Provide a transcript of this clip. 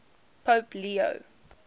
pope leo